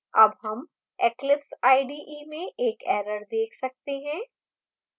अब हम eclipse ide में एक error देख सकते हैं